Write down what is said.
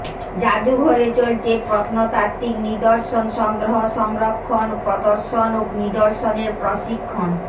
জাদুঘরে চলছে প্রত্নতাত্তিক নিদর্শন সংগ্রহ সংরক্ষণ প্রদর্শন ও নিদর্শনের প্রশিক্ষণ